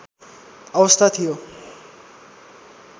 अवस्था थियो